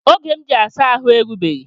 Oge m ji asa ahụ erugbeghi